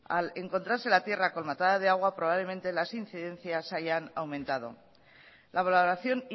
al encontrarse la tierra colmatada de agua probablemente las incidencias hayan aumentado la valoración